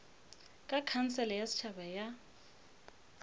ke khansele ya setšhaba ya